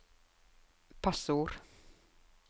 passord